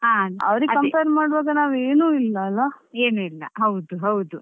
ಅವ್ರಿಗೆ compare ಮಾಡುವಾಗ ನಾವು ಏನು ಇಲ್ಲ ಅಲ್ಲಾ.